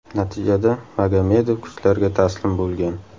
Natijada Magomadov kuchlarga taslim bo‘lgan.